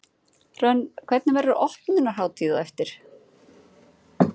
Hrönn, hvernig, verður opnunarhátíð á eftir?